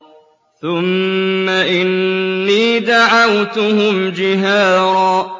ثُمَّ إِنِّي دَعَوْتُهُمْ جِهَارًا